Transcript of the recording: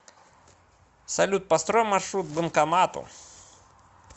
салют построй маршрут к банкомату